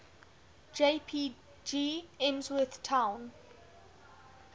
jpg emsworth town